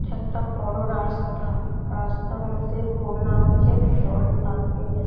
একটা বড়ো রাস্তা রাস্তার মধ্যে বন্যা হইছে জল দাঁড়িয়ে গে--